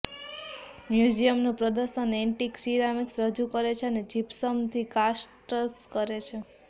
મ્યુઝિયમનું પ્રદર્શન antique ceramics રજૂ કરે છે અને જીપ્સમથી કાસ્ટ્સ કરે છે